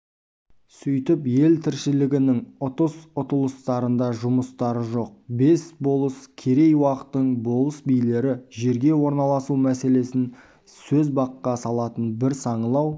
сөйтіп ел тіршілігінің ұтыс-ұтылыстарында жұмыстары жоқ бес болыс керей-уақтың болыс-билері жерге орналасу мәселесін сөз баққа салатын бір саңылау